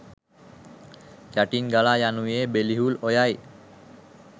යටින් ගලායනුයේ බෙලිහුල් ඔයයි.